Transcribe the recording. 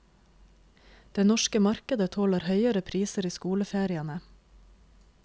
Det norske markedet tåler høyere priser i skoleferiene.